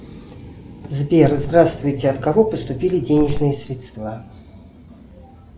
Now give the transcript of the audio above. сбер здравствуйте от кого поступили денежные средства